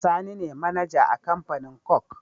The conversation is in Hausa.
Sani ne mAnager a Kamfanin coke